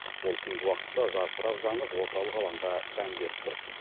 ол түнгі уақытта жарқырап жанып орталық алаңға сән беріп тұр